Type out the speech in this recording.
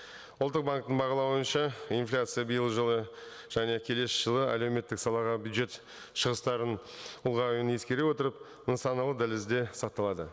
ұлттық банктің бағалауынша инфляция биылғы жылы және келесі жылы әлеуметтік салаға бюджет шығыстарын ұлғаюын ескере отырып нысаналы дәлізде сақталады